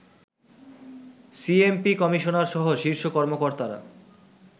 CMP কমিশনারসহ শীর্ষ কর্মকর্তারা